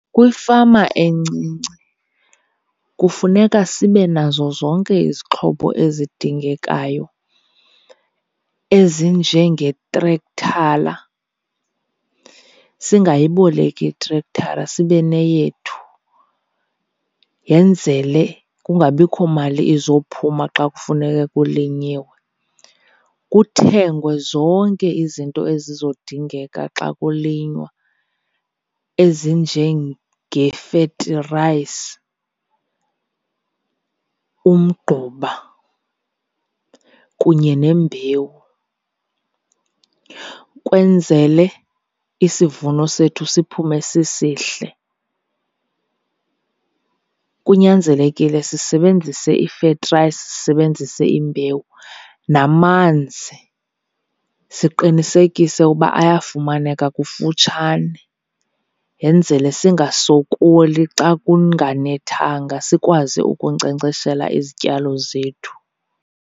Kwifama encinci kufuneka sibe nazo zonke izixhobo ezidingekayo ezinjengetrekthala, singayiboleki itrekthala sibe neyethu yenzele kungabikho mali izophuma xa kufuneke kulinyiwe. Kuthengwe zonke izinto ezizodingeka xa kulinywa ezinjengefetirayisi, umgquba kunye nembewu kwenzele isivuno sethu siphume sisihle. Kunyanzelekile sisebenzise ifetirayisi, sisebenzise imbewu, namanzi siqinisekise uba ayafumaneka kufutshane yenzele singasokoli xa kunganethanga, sikwazi ukunkcenkceshela izityalo zethu.